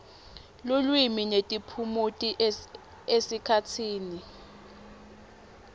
lulwimi netiphumuti esikhatsini